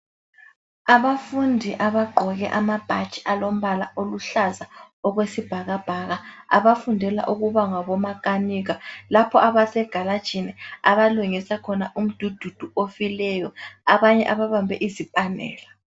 Abafundi abagqoke amabhatshi alombala oluhlaza okwesibhakabhaka abafundela ukuba ngabomakanika, lapha abasegarajini abalungisa khona umdududu ofileyo, abanye ababambe izipanela.